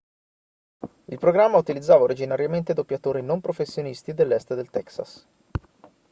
il programma utilizzava originariamente doppiatori non professionisti dell'est del texas